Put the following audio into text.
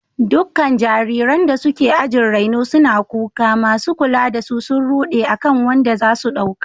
Dukkan jariranda suke ajin raino suna kuka, masu kula da su sun rude akan wanda za su dauka.